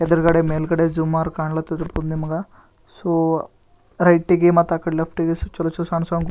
ಎದುರುಗಡೆ ಮೇಲ್ಗಡೆ ಸುಮಾರ್ ಕನ್ಲಹತ್ತದ್ ನಿಮ್ಗ ಸೊ ರೈಟ್ ಗೆ ಮತ್ತೆ ಲೆಫ್ಟ್ ಗೆ ಚಲೋ ಚಲೋ ಸಣ್ಣ ಸಣ್ಣ--